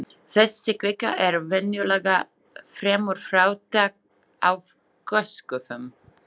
Þessi kvika er venjulega fremur fátæk af gosgufum.